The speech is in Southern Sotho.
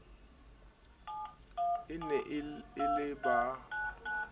e ne e le ba